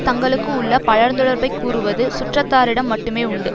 தங்களுக்கு உள்ள பழந்தொடர்பைக் கூறுவது சுற்றத்தாரிடம் மட்டுமே உண்டு